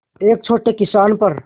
एक छोटे किसान पर